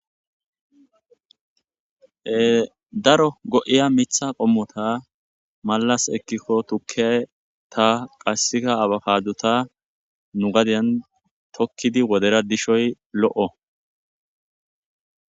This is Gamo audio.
Daro go7iya mitha qommota malas ekkikko tukkey ta qassika abapaduta nu gadyan tokkidi wodera dishoy lo7o